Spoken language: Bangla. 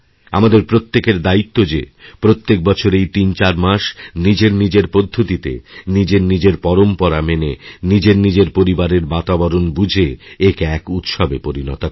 আমাদের প্রত্যেকের দায়িত্বযে প্রত্যেক বছর এই তিনচার মাস নিজেরনিজের পদ্ধতিতে নিজেরনিজের পরম্পরা মেনেনিজেরনিজের পরিবারের বাতাবরণ বুঝে একে এক উৎসবে পরিণত করা